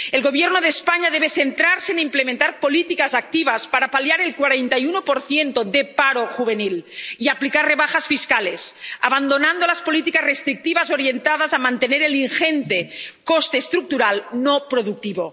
El Gobierno de España debe centrarse en implementar políticas activas para paliar el 41 de paro juvenil y aplicar rebajas fiscales, abandonando las políticas restrictivas orientadas a mantener el ingente coste estructural no productivo.